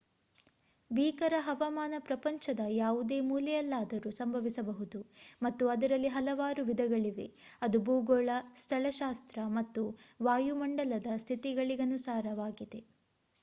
ಭೀಕರ ಹವಾಮಾನ ಪ್ರಪಂಚದ ಯಾವುದೇ ಮೂಲೆಯಲ್ಲಾದರೂ ಸಂಭವಿಸಬಹುದು ಮತ್ತು ಅದರಲ್ಲಿ ಹಲವಾರು ವಿಧಗಳಿವೆ ಅದು ಭೂಗೋಳ ಸ್ಥಳಶಾಸ್ತ್ರ ಮಾತು ವಾಯುಮಂಡಲದ ಸ್ಥಿತಿಗಳಿಗನುಗುಣವಾಗಿರುತ್ತದೆ